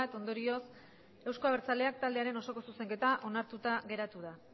ondorioz euzko abertzaleak taldearen osoko zuzenketa onartuta geratu da